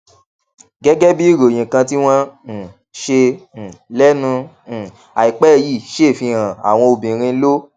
gégé bí ìròyìn kan tí wón um ṣe um lénu um àìpé yìí ṣe fi hàn àwọn obìnrin ló